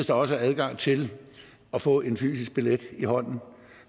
der også er adgang til at få en fysisk billet i hånden